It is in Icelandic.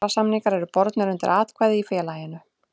Kjarasamningar eru bornir undir atkvæði í félaginu.